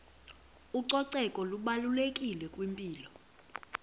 ucoceko lubalulekile kwimpilo